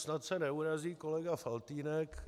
Snad se neurazí kolega Faltýnek.